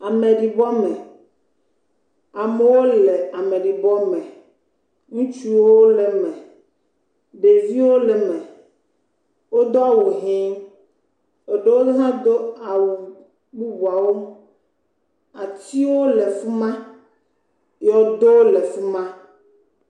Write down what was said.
Ameɖibɔ me, amewo le ameɖibɔme, ŋutsuwo le eme, ɖeviwo le eme, wodo awu hee, eɖewo hã do awu bubuawo, atiwo le fi ma, yɔdowo le fi ma.